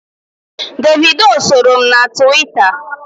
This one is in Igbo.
Davido soro m na Twitta.